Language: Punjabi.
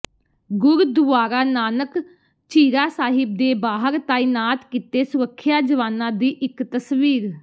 ਗੁਰਦੁਆਰਾ ਨਾਨਕ ਝੀਰਾ ਸਾਹਿਬ ਦੇ ਬਾਹਰ ਤਾਇਨਾਤ ਕੀਤੇ ਸੁਰੱਖਿਆ ਜਵਾਨਾਂ ਦੀ ਇਕ ਤਸਵੀਰ